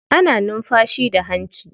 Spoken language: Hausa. Ana numfashi da hanci.